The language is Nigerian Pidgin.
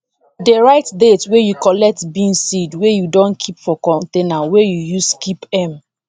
dey write date wey you collect bean seed wey you don keep for container wey you use keep m